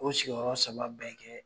O sigiyɔrɔ saba bɛ kɛ